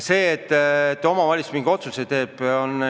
Aga kui omavalitsus mingi otsuse teeb, siis ta teeb.